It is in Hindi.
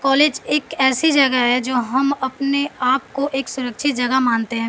कॉलेज एक ऐसी जगह है जो हम अपने आप को एक सुरक्षित जगह मानते हैं।